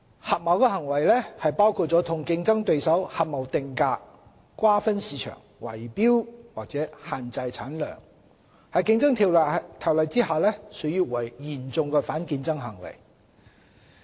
合謀行為，包括與競爭對手合謀定價、瓜分市場，圍標或限制產量，在《競爭條例》下屬於嚴重反競爭行為。